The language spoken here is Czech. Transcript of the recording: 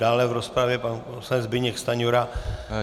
Dále v rozpravě pan poslanec Zbyněk Stanjura.